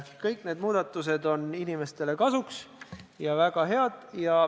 Kõik need muudatused on inimestele kasuks ja väga head.